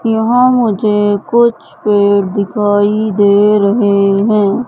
यहां मुझे कुछ पेड़ दिखाई दे रहे हैं।